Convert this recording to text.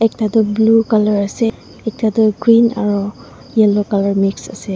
ekta tu blue color ase ekta tu green aro yellow color mix ase.